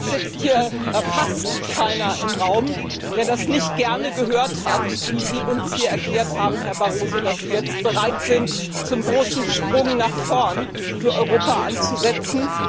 Ich glaube, es sitzt hier fast keiner im Raum, der nicht gerne gehört hat, wie Sie uns erklärt haben, Herr Barroso, dass Sie jetzt bereit sind, zum großen Sprung nach vorn für Europa anzusetzen.